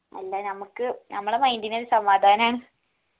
അല്ല നമ്മക്ക് നമ്മളെ mind ഇനൊരു സമാധാനാണ്